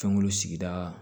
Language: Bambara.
Fɛnko sigida